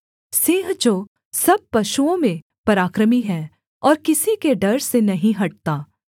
सिंह जो सब पशुओं में पराक्रमी है और किसी के डर से नहीं हटता